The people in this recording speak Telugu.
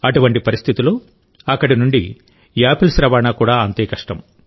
అటువంటి పరిస్థితిలోఅక్కడి నుండి యాపిల్స్ రవాణా కూడా అంతే కష్టం